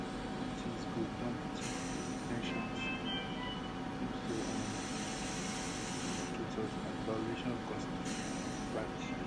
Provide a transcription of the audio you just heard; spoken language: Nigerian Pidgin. civil liberties groups don protest di de ten tions um and moves to um deport student demonstrators as violation of constitutional rights rights